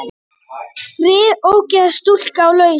Fyrir ógifta stúlku á lausu.